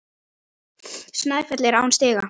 Snæfell er án stiga.